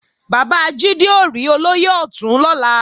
Bàbá Jídé ó rí Olóyè Ọ̀tún lọ́la